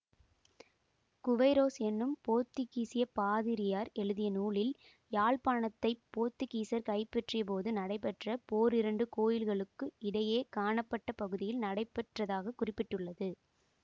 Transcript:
Queyroz என்னும் போத்துக்கீசப் பாதிரியார் எழுதிய நூலில் யாழ்ப்பாணத்தைப் போத்துக்கீசர் கைப்பற்றியபோது நடைபெற்ற போர் இரண்டு கோயில்களுக்கு இடையே காணப்பட்ட பகுதியில் நடைபெற்றதாகக் குறிப்பிட்டுள்ளது